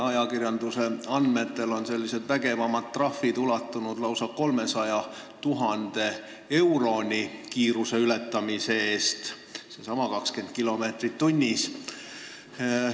Ajakirjanduse andmetel on vägevamad trahvid kiiruse ületamise eest ulatunud lausa 300 000 euroni, see on seesama 20 kilomeetrit tunnis.